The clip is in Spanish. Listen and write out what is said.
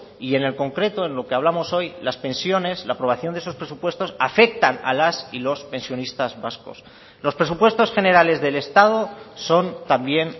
y en el concreto en lo que hablamos hoy las pensiones la aprobación de esos presupuestos afectan a las y los pensionistas vascos los presupuestos generales del estado son también